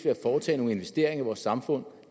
at foretage nogle investeringer i vores samfund